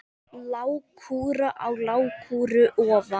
Lágkúra á lágkúru ofan.